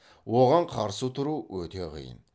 оған қарсы тұру өте қиын